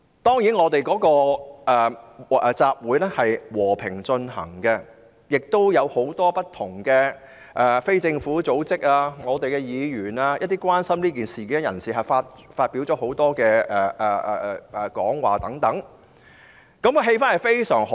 這個集會和平進行，有很多不同的非政府組織、議員及關心這件事的人發表講話，氣氛相當好。